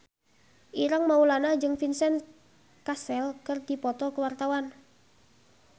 Ireng Maulana jeung Vincent Cassel keur dipoto ku wartawan